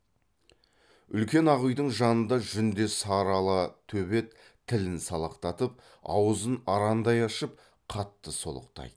үлкен ақ үйдің жанында жүндес сары ала төбет тілін салақтатып аузын арандай ашып қатты солықтайды